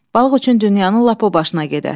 Balıq üçün dünyanın lap o başına gedər.